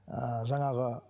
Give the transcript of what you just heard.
ііі жаңағы